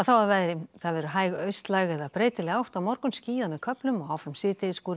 að veðri hæg austlæg eða breytileg átt á morgun skýjað með köflum og áfram